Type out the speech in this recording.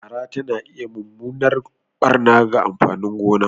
Fara takan iya mummunan barna ga amfanin gona.